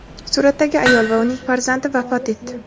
suratdagi ayol va uning farzandi vafot etdi.